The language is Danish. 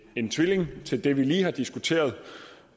en tvilling til det vi lige har diskuteret